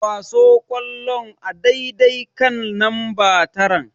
Kwaso ƙwallon a daidai kan namba taran.